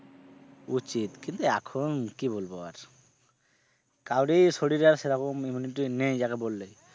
উচিত কিন্তু এখন কি বলবো আর কাউরেই শরীরে আর সেরকম immunity নেই যাকে বললে।